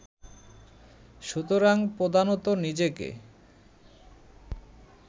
সুতরাং প্রধানত নিজেকে